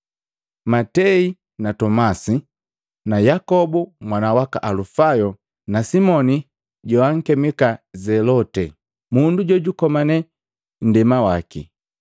Matei na Tomasi na Yakobu mwana waka Alufayo na Simoni jowankemika Zelote, mundu jojukomane nndema waki.